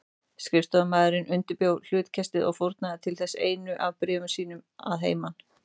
Skrifstofumaðurinn undirbjó hlutkestið og fórnaði til þess einu af bréfum sínum að heiman.